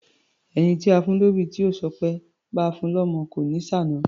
Ẹni táa fún lóbì tí ò ṣọpẹ́, báa fun lọ́mọ kò ní ṣàna.